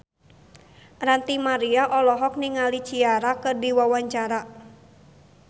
Ranty Maria olohok ningali Ciara keur diwawancara